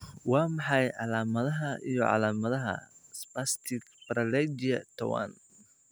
Waa maxay calaamadaha iyo calaamadaha Spastic paraplegia tawan?